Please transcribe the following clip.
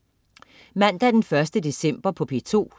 Mandag den 1. december - P2: